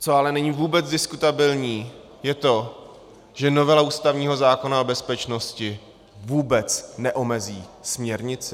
Co ale není vůbec diskutabilní, je to, že novela ústavního zákona o bezpečnosti vůbec neomezí směrnici.